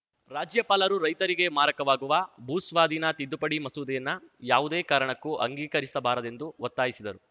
ರಾಜ್ಯಪಾಲರು ರೈತರಿಗೆ ಮಾರಕವಾಗುವ ಭೂಸ್ವಾಧೀನ ತಿದ್ದುಪಡಿ ಮಸೂದೆಯನ್ನ ಯಾವುದೇ ಕಾರಣಕ್ಕೂ ಅಂಗೀಕರಿಸಬಾರದೆಂದು ಒತ್ತಾಯಿಸಿದರು